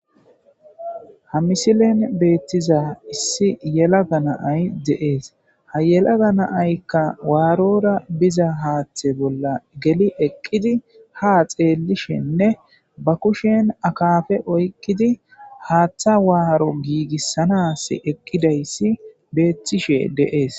ha misilen beettiza issi yelaga naay deees ha yelaga naaykka waarora biza haaththe bolla geli eqqidi ha xeellishenne ba kushen akafe oykkidi haaththa waaro giigissanas eqqidayssi beettishe deees